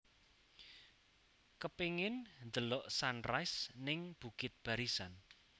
Kepingin ndelok sunrise ning Bukit Barisan